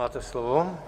Máte slovo.